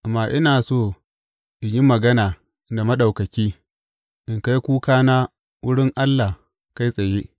Amma ina so in yi magana da Maɗaukaki, in kai kukana wurin Allah kai tsaye.